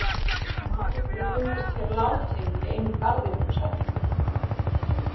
Maður hefur fundist hér látinn í einum garðinum, sagði hún.